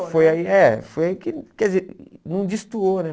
Foi aí, é, foi aí que, quer dizer, não destoou, né?